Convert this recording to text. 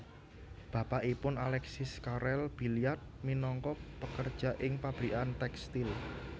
Bapakipun Alexis Carrel Billiard minangka pekerja ing pabrikan tekstil